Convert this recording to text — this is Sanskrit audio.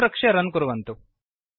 संरक्ष्य रन् कुर्वन्तु